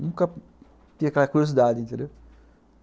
Nunca tinha aquela curiosidade, entendeu?